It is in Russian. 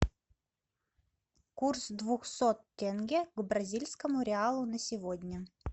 курс двухсот тенге к бразильскому реалу на сегодня